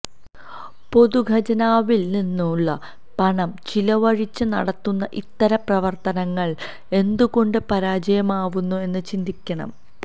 പൊതുഖജനാവില് നിന്നുള്ള പണം ചിലവഴിച്ച് നടത്തുന്ന ഇത്തരം പ്രവര്ത്തനങ്ങള് എന്തുകൊണ്ട് പരാജയമാവുന്നു എന്ന് ചിന്തിക്കണം